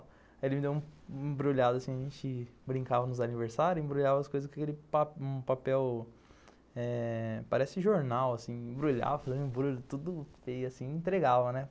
Aí ele me deu um embrulhado, assim, a gente brincava nos aniversários, embrulhava as coisas com aquele papel, um papel eh... parece jornal, assim, embrulhava, fazia um embrulho assim, tudo feio, assim, entregava, né?